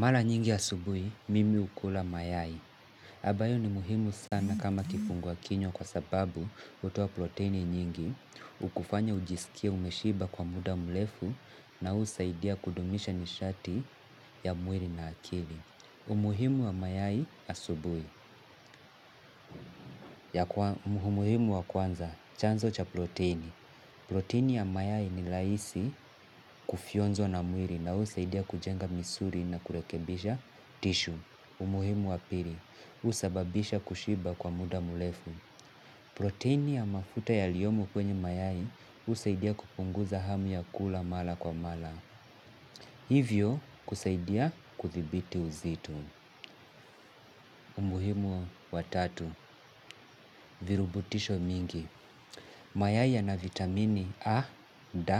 Maaa nyingi asubuhi, mimi hukula mayai. Ambayo ni muhimu sana kama kifungua kinywa kwa sababu hutoa proteini nyingi. Hukufanya ujisikie umeshiba kwa muda mrefu na husaidia kudumisha nishati ya mwili na akili. Umuhimu wa mayai asubuhi. Umuhimu wa kwanza, chanzo cha proteini. Proteini ya mayai ni rahisi kufyonzwa na mwili na husaidia kujenga misuli na kurekebisha tissue. Umuhimu wa pili, husababisha kushiba kwa muda murefu. Proteini ya mafuta yaliyomo kwenye mayai husaidia kupunguza hamu ya kula mara kwa mara. Hivyo kusaidia kuthibiti uzito. Umuhimu wa tatu, virubutisho mingi. Mayai ya na vitamini A, D,